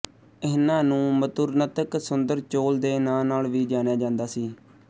ਇਹਨਾਂ ਨੂੰ ਮਧੁਰਨਤਕ ਸੁੰਦਰ ਚੋਲ ਦੇ ਨਾਂ ਨਾਲ ਵੀ ਜਾਣਿਆ ਜਾਂਦਾ ਸੀ